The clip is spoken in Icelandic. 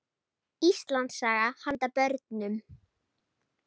Íslandssaga handa börnum.